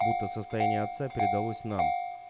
будто состояние отца передалось нам